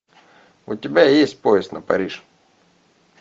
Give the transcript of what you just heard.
у тебя есть поезд на париж